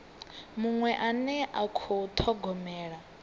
muṅwe ane a khou thogomela